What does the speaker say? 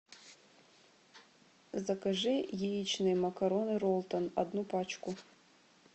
закажи яичные макароны ролтон одну пачку